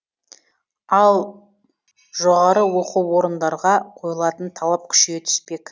ал жоғарғы оқу орындарға қойылатын талап күшейе түспек